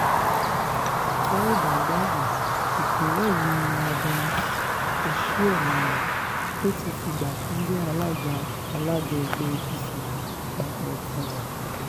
tẹ́ ò bá gbàgbé ìpínlẹ̀ yìí ni adams osihomhole tó ti fìgbà kan jẹ́ alága alága ẹgbẹ́ apc àpapọ̀ ti wá